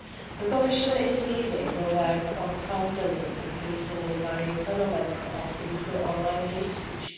The Commission is leading the work on countering the increasingly worrying phenomenon of illegal online hate speech.